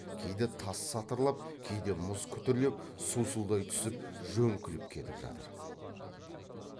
кейде тас сатырлап кейде мұз күтірлеп сусылдай түсіп жөңкіліп кетіп жатыр